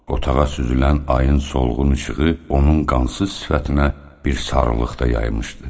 Otağa süzülən ayın solğun işığı onun qansız sifətinə bir sarılıq da yaymışdı.